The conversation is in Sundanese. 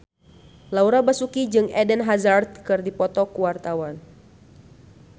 Laura Basuki jeung Eden Hazard keur dipoto ku wartawan